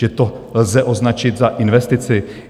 Že to lze označit za investici?